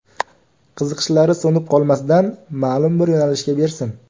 Qiziqishlari so‘nib qolmasdan, ma’lum bir yo‘nalishga bersin.